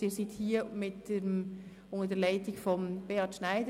Die Gäste sind hier unter der Leitung von Beat Schneider.